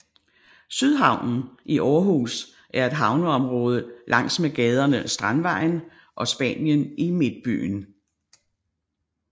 Sydhavnen i Aarhus er et havneområde langs med gaderne Strandvejen og Spanien i Midtbyen